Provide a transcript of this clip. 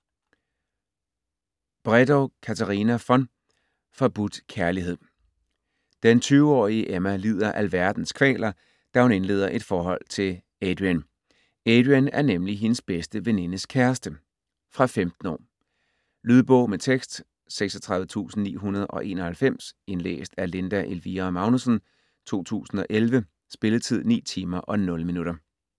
Bredow, Katarina von: Forbudt kærlighed Den 20-årige Emma lider alverdens kvaler, da hun indleder et forhold til Adrian. Adrian er nemlig hendes bedste venindes kæreste. Fra 15 år. Lydbog med tekst 36991 Indlæst af Linda Elvira Magnussen, 2011. Spilletid: 9 timer, 0 minutter.